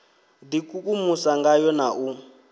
d ikukumusa ngayo na u